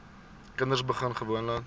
kinders begin gewoonlik